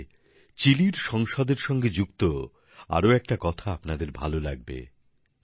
আসলে চিলির সংসদের সঙ্গে যুক্ত একটা আরো কথা আপনার ভালো লাগবে